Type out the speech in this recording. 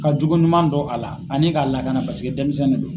Ka jogo ɲuman don a la ani k'a lakana paseke denmisɛnnin de don.